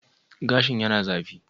Gashin yana zafi?